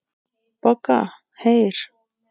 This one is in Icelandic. BOGGA: Heyr!